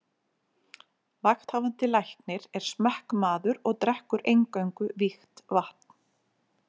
Vakthafandi Læknir er smekkmaður og drekkur eingöngu vígt vatn.